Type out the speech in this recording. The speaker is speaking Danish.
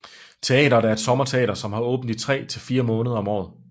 Teateret er et sommerteater som har åbent i tre til fire måneder om året